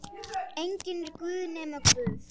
Enginn er guð nema Guð.